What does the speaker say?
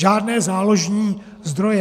Žádné záložní zdroje.